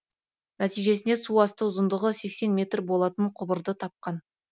нәтижесінде су астында ұзындығы сексен метр болатын құбырды тапқан